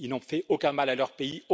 Ils n'ont fait aucun mal à leur pays